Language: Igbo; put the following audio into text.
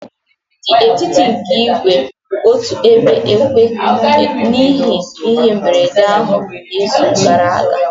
The etiti nke igwe kwụ otu ebe ekwe n'ihi ihe mberede ahụ n'izu gara aga.